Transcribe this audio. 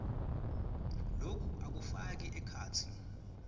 loku akufaki ekhatsi